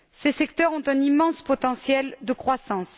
Ces secteurs ont un immense potentiel de croissance